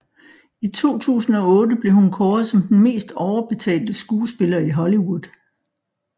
I 2008 blev hun kåret som den mest overbetalte skuespiller i Hollywood